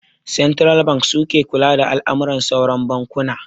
Santiral banki suke kula da al'amuran sauran bankuna